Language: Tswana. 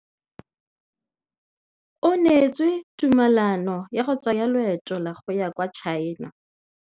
O neetswe tumalanô ya go tsaya loetô la go ya kwa China.